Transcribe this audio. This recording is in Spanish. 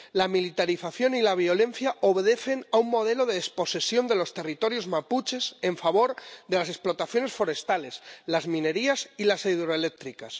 La militarización y la violencia obedecen a un modelo de desposesión de los territorios mapuches en favor de las explotaciones forestales, las minerías y las hidroeléctricas.